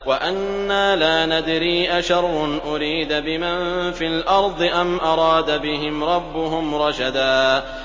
وَأَنَّا لَا نَدْرِي أَشَرٌّ أُرِيدَ بِمَن فِي الْأَرْضِ أَمْ أَرَادَ بِهِمْ رَبُّهُمْ رَشَدًا